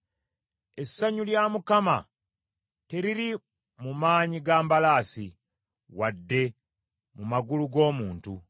Essanyu lya Mukama teriri mu maanyi ga mbalaasi, wadde mu magulu g’omuntu,